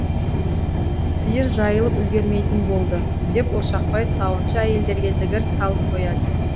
сиыр жайылып үлгермейтін болды деп ошақбай сауыншы әйелдерге дігір салып қояды